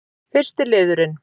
fyrsti liðurinn